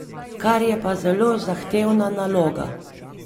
Kar je pa zelo zahtevna naloga.